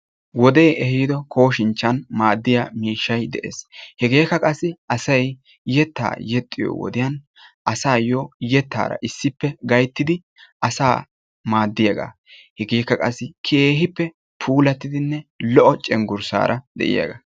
Wode ehido koshinchchan maadiya miishshay de'ees hegekka qassi asay yetta yexxiyo wode asayyo yettara issippe gayttidi asa maadiyaaga. hegekka qassi asayyo puulaatidinne lo''o cenggussara de'iyaaga.